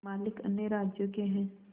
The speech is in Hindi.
मालिक अन्य राज्यों के हैं